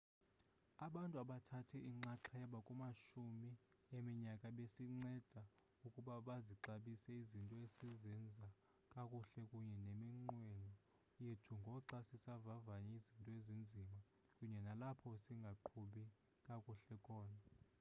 abantu abathathe inxaxheba kumashumi eminyaka basinceda ukuba sizixabise izinto esizenza kakuhle kunye neminqweno yethu ngoxa sivavanya izinto ezinzima kunye nalapho singaqhubi kakuhle khona